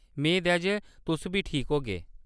मेद ऐ जे तुस बी ठीक होगे ।